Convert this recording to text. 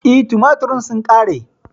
E, tumaturen sun ƙare.